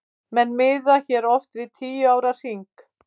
Menn miða hér oft við tíu ára hring.